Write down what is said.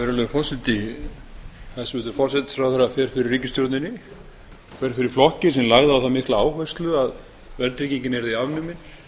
virðulegur forseti hæstvirtur forsætisráðherra fer fyrir ríkisstjórninni fer fyrir flokki sem lagði á það mikla áherslu að verðtryggingin yrði afnumin